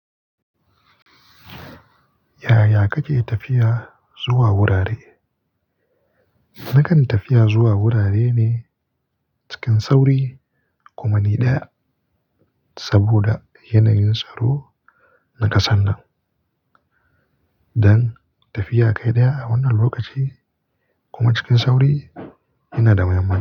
Yaya kake tafiya zuwa wurare? Nakan tafiya zuwa wurare ne cikin sauri kuma ni ɗaya saboda yanayin tsaro na ƙasar nan. Dan tafiya kai ɗaya a wannan lokaci kuma cikin sauri yana da mahimmanci.